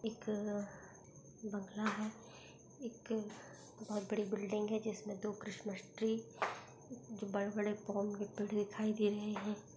एक बंगला है एक बहुत बड़ी बिल्डिंग है जिसमे दो क्रिसमस ट्री बड़े-बड़े पो पेड़ दिखाई दे रहे है।